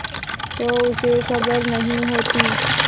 तो उसे खबर नहीं होती